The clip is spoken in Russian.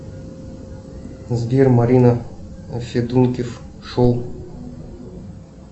сбер марина федункив шоу